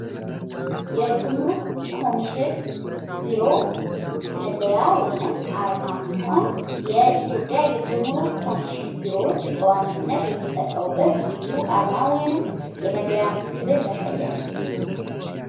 የጉሙሩክ ኮሚሽን ቢሮ መለያ ወይንም አርማ ሲሆን የኢትዮጵያ የጉሙሩክ ኮሚሽን ቢሮዎች በዋነችነት የሚጠቀሙበት ልዩ አርማ ወይንም የመለያ ምስልን ያሳያል።